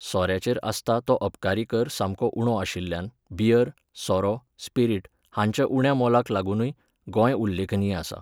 सोऱ्याचेर आसता तो अबकारी कर सामको उणो आशिल्ल्यान बियर, सोरो, स्पिरिट हांच्या उण्या मोलाक लागूनय गोंय उल्लेखनीय आसा.